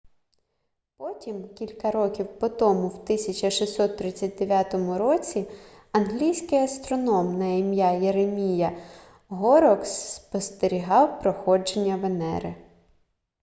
потім кілька років по тому в 1639 році англійський астроном на ім'я єремія горрокс спостерігав проходження венери